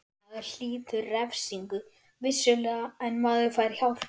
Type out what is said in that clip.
Maður hlýtur refsingu, vissulega, en maður fær hjálp.